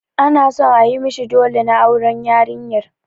Ana son ayi mishi ɗole na auren yarinyar.